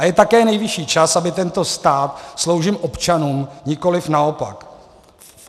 A je také nejvyšší čas, aby tento stát sloužil občanům, nikoliv naopak.